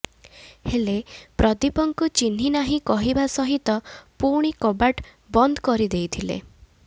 ହେଲେ ପ୍ରଦୀପଙ୍କୁ ଚିହ୍ନିନାହିଁ କହିବା ସହିତ ପୁଣି କବାଟ ବନ୍ଦ କରିଦେଇଥିଲେ